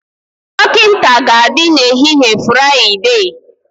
Dọkịta ga-adị n'ehihie Fraịdee